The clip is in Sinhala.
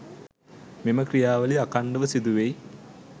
මෙම ක්‍රියාවලිය අඛණ්ඩව සිදුවෙයි.